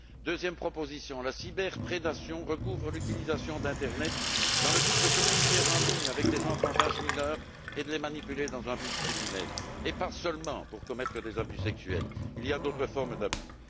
Deuxième proposition la cyberprédation recouvre l'utilisation de l'internet dans le but de communiquer en ligne avec des enfants d'âge mineur et de les manipuler dans un but criminel, et ce non seulement pour commettre des abus sexuels il existe d'autres formes d'abus.